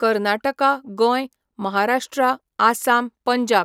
कर्नाटका, गोंय, महाराष्ट्रा, आसाम, पंजाब